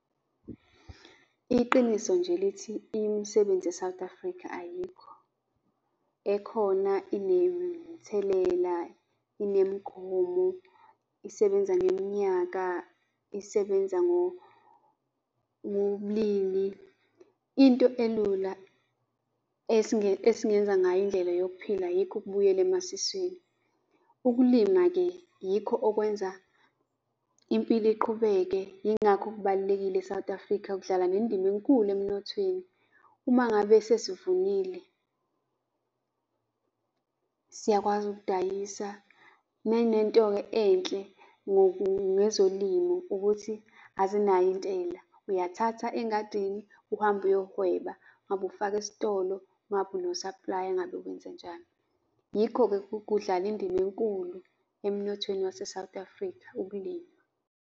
Iqiniso nje lithi imisebenzi e-South Africa ayikho. Ekhona, inemithelela, inemigomo, isebenza ngeminyaka, isebenza ngobulili. Into elula esingenza ngayo indlela yokuphila yikho ukubuyela emasiswini. Ukulima-ke yikho okwenza impilo iqhubeke yingakho kubalulekile e-South Africa, kudlala nendima enkulu emnothweni. Uma ngabe sezivunile, siyakwazi ukudayisa. Nanento-ke enhle ngezolimo ukuthi azinayo intela, uyathatha engadini uhambe uyohweba, ngabe ufaka esitolo, ngabe uno-supplier, engabe wenzenjani. Yikho-ke kudlala indima enkulu emnothweni wase-South Africa ukulima.